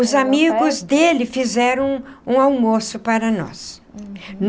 Os amigos dele fizeram um almoço para nós.